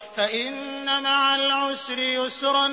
فَإِنَّ مَعَ الْعُسْرِ يُسْرًا